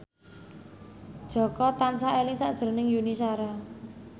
Jaka tansah eling sakjroning Yuni Shara